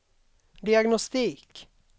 diagnostik